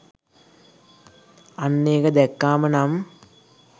අන්න ඒක දැක්කාම නම්